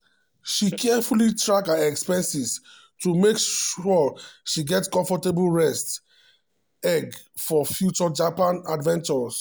she carefully track her expenses to make sure she get comfortable nest egg for future japan adventures.